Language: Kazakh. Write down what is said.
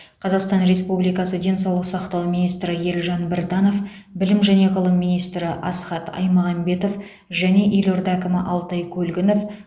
қазақстан республикасы денсаулық сақтау министрі елжан біртанов білім және ғылым министрі асхат аймағамбетов және елорда әкімі алтай көлгінов